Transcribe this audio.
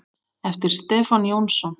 eftir Stefán Jónsson